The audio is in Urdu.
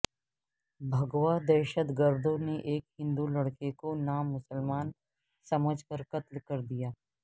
بھگوا دہشت گردوں نے ایک ہندو لڑکے کو نام مسلمان سمجھ کر قتل کردیا